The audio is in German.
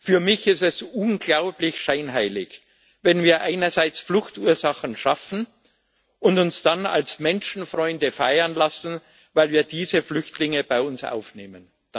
Für mich ist es unglaublich scheinheilig, wenn wir einerseits Fluchtursachen schaffen und uns dann als Menschenfreunde feiern lassen, weil wir diese Flüchtlinge bei uns aufnehmen.